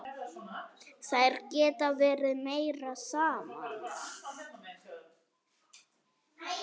Þær geta verið meira saman.